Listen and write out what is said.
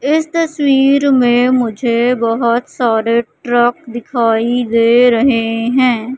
इस तस्वीर में मुझे बहोत सारे ट्रक दिखाई दे रहे हैं।